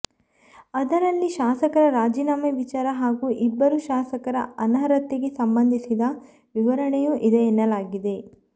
ಅದರಲ್ಲಿ ಶಾಸಕರ ರಾಜೀನಾಮೆ ವಿಚಾರ ಹಾಗೂ ಇಬ್ಬರು ಶಾಸಕರ ಅನರ್ಹತೆಗೆ ಸಂಬಂಧಿಸಿದ ವಿವರಣೆಯೂ ಇದೆ ಎನ್ನಲಾಗಿದೆ